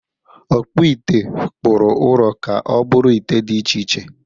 Ọkpụite kpụrụ ụrọ ka ọ bụrụ ite dị iche iche.